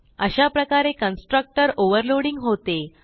अशाप्रकारे constructor overloading होते